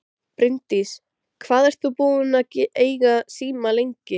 Bryndís: Hvað ert þú búinn að eiga síma lengi?